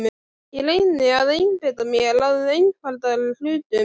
Ég reyni að einbeita mér að einfaldari hlutum.